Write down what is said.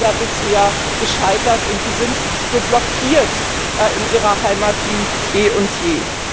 Es ist leider bisher gescheitert und Sie sind so blockiert in Ihrer Heimat wie eh und je.